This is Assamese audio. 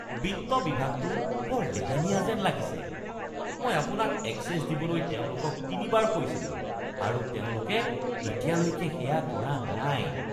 বিত্ত বিভাগটো বৰ লেহেমীয়া যেন লাগিছে। মই আপোনাক এক্সেছ দিবলৈ তেওঁলোকক তিনিবাৰ কৈছিলোঁ আৰু তেওঁলোকে এতিয়ালৈকে সেয়া কৰা নাই।